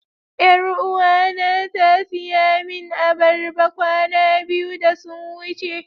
Yaruwa na ta siya min albarba kwana biyu da sun wuce.